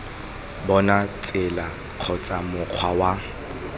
bona tsela kgotsa mokgwa wa